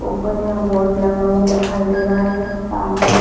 ऊपर यहाँ बोर्ड लगा हुआ दिखाई दे रहा है सामने--